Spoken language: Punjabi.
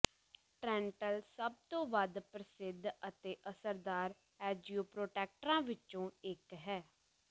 ਟ੍ਰੈਂਟਲ ਸਭ ਤੋਂ ਵੱਧ ਪ੍ਰਸਿੱਧ ਅਤੇ ਅਸਰਦਾਰ ਐਂਜੀਓਪੋਟੈਕਟਰਾਂ ਵਿੱਚੋਂ ਇੱਕ ਹੈ